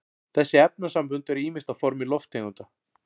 þessi efnasambönd eru ýmist á formi lofttegunda